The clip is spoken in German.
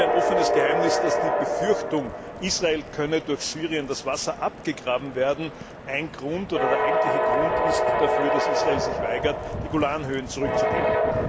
Es ist ja ein offenes Geheimnis, dass die Befürchtung, Israel könne durch Syrien das Wasser abgegraben werden, der eigentliche Grund dafür ist, dass Israel sich weigert, die Golan Höhen zurückzugeben.